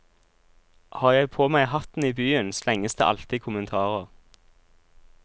Har jeg på meg hatten i byen, slenges det alltid kommentarer.